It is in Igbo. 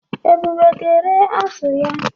Ebube ga-ere azụ ya.